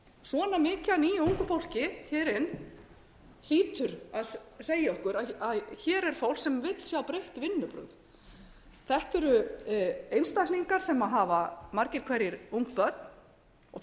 svona mikið af nýju ungu fólki sem fer inn hlýtur að segja okkur að hér er fólk sem vill sjá breytt vinnubrögð þetta eru einstaklingar sem hafa margir hverjir ung börn og